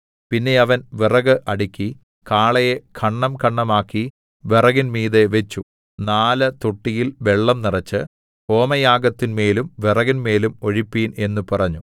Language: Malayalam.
പിന്നെ അവൻ വിറക് അടുക്കി കാളയെ ഖണ്ഡംഖണ്ഡമാക്കി വിറകിൻമീതെ വെച്ചു നാല് തൊട്ടിയിൽ വെള്ളം നിറച്ച് ഹോമയാഗത്തിന്മേലും വിറകിന്മേലും ഒഴിപ്പിൻ എന്ന് പറഞ്ഞു